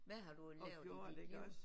Hvad har du lavet i dit liv?